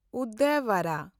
ᱩᱫᱭᱟᱵᱟᱨᱟ